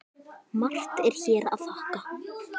Margt er hér að þakka